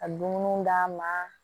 Ka dumuniw d'an ma